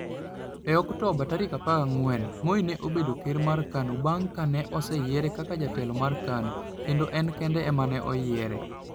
E Oktoba 14, Moi ne obedo ker mar KANU bang ' ka ne oseyiere kaka jatelo mar KANU kendo en kende ema ne oyiere.